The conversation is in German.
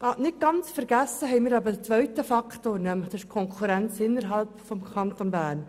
Nicht ganz vergessen haben wir einen zweiten Faktor, nämlich die Konkurrenz innerhalb des Kantons Bern.